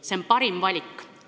See on parim valik.